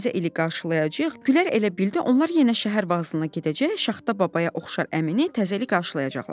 təzə ili qarşılayacağıq, Güllər elə bildi onlar yenə şəhər vağzalına gedəcək, Şaxta Babaya oxşar əmini təzəli qarşılayacaqlar.